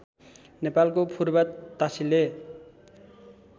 नेपालको फुर्बा तासिले